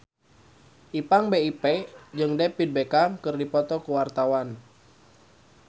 Ipank BIP jeung David Beckham keur dipoto ku wartawan